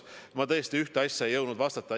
Ma tõesti ühte asja ei jõudnud talle öelda.